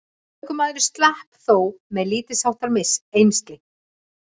Ökumaðurinn slapp þó með lítilsháttar eymsli